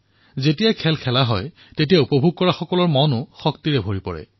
যেতিয়া এটা খেল খেলা হয় তেতিয়া দৰ্শকৰো মন প্ৰাণৱন্ত হৈ উঠে